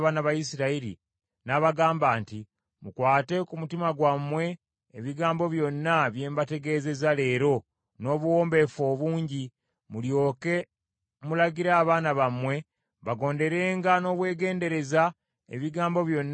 n’abagamba nti, “Mukwate ku mutima gwammwe ebigambo byonna bye mbategeezezza leero n’obuwombeefu obungi, mulyoke mulagire abaana bammwe bagonderenga n’obwegendereza ebigambo byonna eby’amateeka gano.